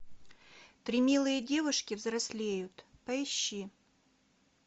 три милые девушки взрослеют поищи